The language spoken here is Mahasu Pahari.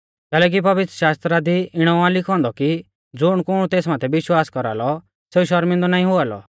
कैलैकि पवित्रशास्त्र दी इणौ आ लिखौ औन्दौ कि ज़ुणकुण तेस माथै विश्वास कौरालौ सेऊ शौरमिंदौ ना हुआ लौ